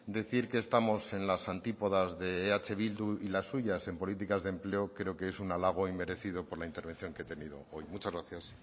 decir que estamos en las antípodas de eh bildu y las suyas en políticas de empleo creo que es un alago inmerecido por la intervención que he tenido hoy muchas gracias